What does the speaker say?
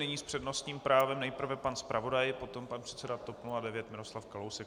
Nyní s přednostním právem nejprve pan zpravodaj, potom pan předseda TOP 09 Miroslav Kalousek.